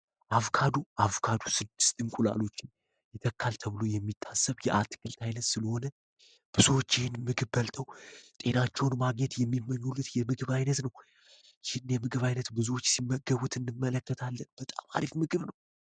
አቮካዶ አቮካዶ 6 እንቁላሎችን ይታከል ተብሎ የሚታሰብ የአትክልት አይነት ስለሆነ ብዙዎች ይህንን ምግብ ጤናቸውን የሚመኙት የምግብ አይነት ነው ይህን የምግብ አይነት ብዙዎች ሲመገቡት እንመለከታለን በጣም አሪፍ ምግብ ነው።